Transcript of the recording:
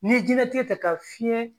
N'i ye jiyɛnlatigɛ ta ka fiyɛn